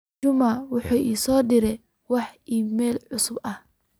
juma wuxuu ii soo diray wax iimayl cusub ah